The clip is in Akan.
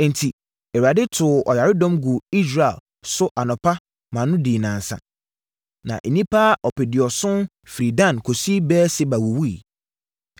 Enti, Awurade too ɔyaredɔm guu Israel so anɔpa no ma ɛdii nnansa. Na nnipa ɔpeduɔson firii Dan kɔsi Beer-Seba wuwuiɛ.